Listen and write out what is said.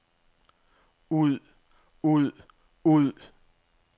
ud ud ud